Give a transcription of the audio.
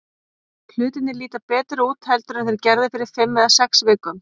Hlutirnir líta betur út heldur en þeir gerðu fyrir fimm eða sex vikum.